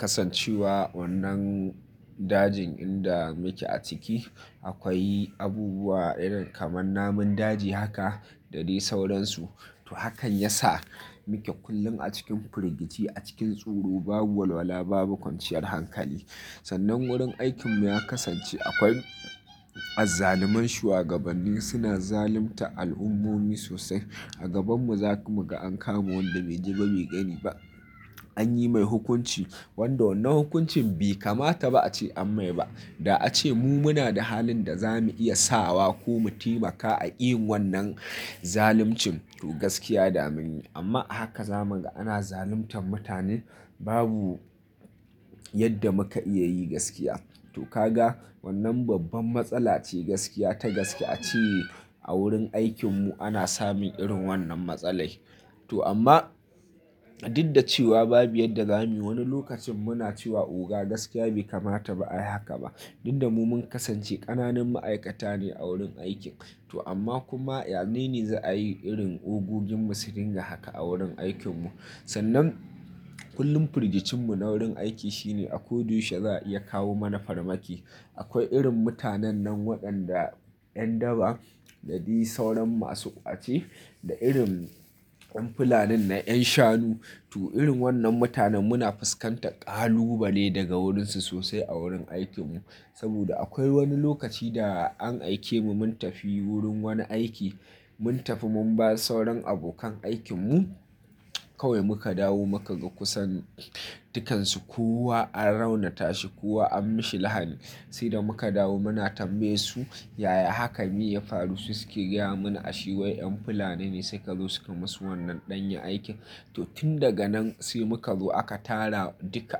kasancewa wannan dajin inda muke a ciki akwai abubuwa irin kamar namun daji haka da dai sauransu. To hakan ya sa muke kullum a cikin firgici a cikin tsoro babu walwala babu kwanciyar hankali. Sannan wurin aikinmu ya kasance akwai azzaluman shuwagabanni suna zaluntar al'ummomi sosai. A gabanmu za kuma ga an kama wanda bai ji ba mai gani ba an yi mai hukunci, wanda wannan hukuncin bai kamata ba ace anmai ba da ace mu muna da halin da za mu iya sa wa ko mu taimaka aƙi yin wannan zaluncin to gaskiya da mun yi amma a haka za mu ga ana zaluntar mutanen babu yadda muka iya yi gaskiya. To ka ga wannan babban matsala ce gaskiya ta gaskiya ace a wurin aikinmu ana samun irin wannan matsalai. To amma duk da cewa babu yadda za mu yi wani lokacin muna cewa oga gaskiya bai kamata ba ayi haka ba. Tunda mu mun kasance ƙananan ma'aikata ne a wurin aikin to amma kuma yanene za a yi irin ogogin mu su dinga haka a wurin aikinmu. Sannan kullum firgicinmu na wurin aiki shine a ko dushe za a iya kawo mana farmaki. Akwai irin mutanen nan waɗanda 'yan daba da dai sauran masu ƙwace da irin 'yan fulanin na 'yan shanu to irin wannan mutanen muna fuskantar ƙalubale daga wurinsu sosai a wurin aikinmu. Saboda akwai wani lokaci da an aike mu mun tafi wurin wani aiki mun tafi mun bar sauran abokan aikinmu kawai muka dawo muka ga kusan dukansu kowa an raunata shi kowa an mishi lahani. Sai da muka dawo muna tambaye su yaya hakan me ya faru sai suke gaya mana ashe wai 'yan fulani ne su ka zo su ka yi musu wannan ɗanyen aikin. To tun daga nan sai muka zo aka tara duka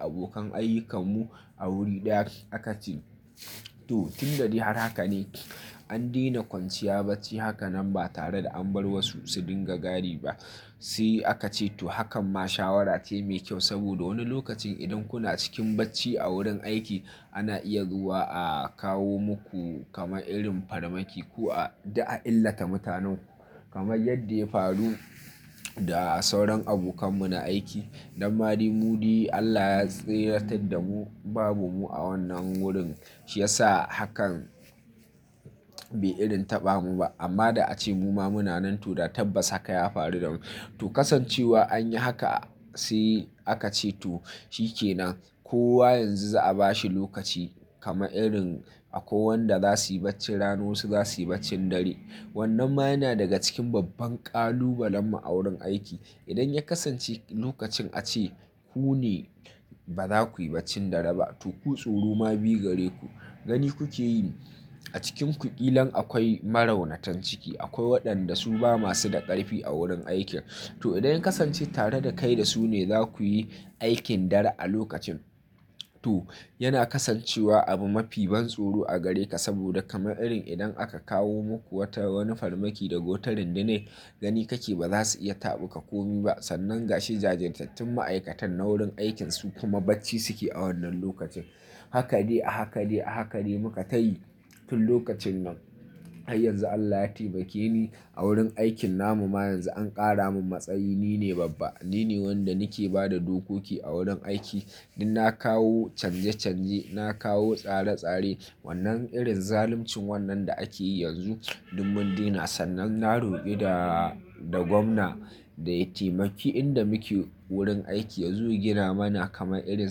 abokan ayyukarmu a wuri ɗaya aka ce, to tunda dai har haka ne an daina kwanciya bacci haka nan ba tare da an bar wasu su dinga gadi ba. Sai aka ce to hakan ma shawara ce mai kyau saboda wani lokacin idan kuna cikin bacci a wurin aiki ana iya zuwa a kawo muku kamar irin farmaki ko a duk a illata mutanenku. Kamar yadda ya faru da sauran abokanmu na aiki, nan ma dai mu dai Allah ya tsirratar da mu babu mu a wannan wurin shi yasa hakan bai irin taɓa mu ba. Amma da ace muma muna nan da tabbas hakan ya faru damu. To kasancewa an yi haka sai aka ce to shi ke nan kowa yanzu za a bashi lokaci kamar irin akwai wanda za su yi bacci rana wa su za su yi baccin dare. Wannan ma yana daga cikin babban ƙalubalen mu a wurin aiki. Idan ya kasance lokacin ace ku ne ba za ku yi baccin dare ba to ku tsoro ma biyu gare ku gani kuke yi, a cikinku ƙilan akwai maraunatan ciki akwai waɗanda su ba masu da ƙarfi a wurin aiki. To idan ya kasance tare da kai da su ne za ku yi aikin dare a lokacin to yana kasancewa abu mafi ban tsoro a gare ka saboda kamar irin idan aka kawo muku wata wani farmaki daga wata rundunar gani kake ba za su iya taɓa ka komai ba. Sannan ga shi jajirtattun ma'aikatan na wurin aikin su kuma bacci suke a wannan lokacin. Haka dai a haka dai a haka dai muka tayi tun lokacin nan. Har yanzu Allah ya taimake ni a wurin aikin namu ma yanzu an ƙara min matsayi ni ne babba ni ne wanda nake ba da dokoki a wurin aiki. Ni na kawo canje canje na kawo tsare tsare wannan irin zaluncin wannan da ake yi yanzu duk mun daina. Sannan na roƙi da da gomna ya taimaki inda muke a wurin aiki ya zo ya gina mana kamar irin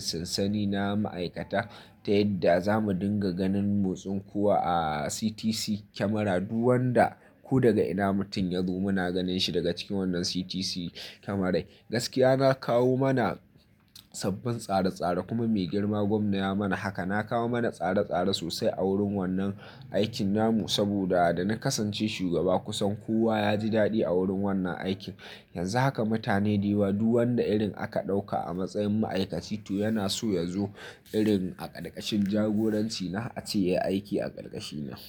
sansani na ma'aikata, ta yadda zamu dinga ganin motsin kowa a CTC camera duk wanda ko daga ina mutum yazo muna ganin shi daga cikin wannan CTC camera. Gaskiya na kawo mana sabbin tsare tsare kuma mai girma gwamna ya mana haka. Na kawo mana tsare tsare sosai a wurin wannan aikin namu saboda da na kasance shugaba kusan kowa ya ji daɗi a wurin wannan aikin. Yanzu haka mutane da yawa duk wanda irin aka ɗauka a matsayin ma'aikaci to yana so yazo irin a karkashin jagoranci na ace yayi aiki a ƙarƙashina.